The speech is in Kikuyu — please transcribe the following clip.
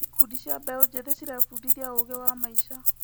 Ikundi cia mbeũ njĩthĩ cirebundithia ũũgĩ wa maica.